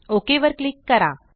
okay वर click करा